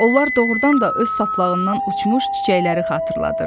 Onlar doğrudan da öz saplağından uçmuş çiçəkləri xatırladırdı.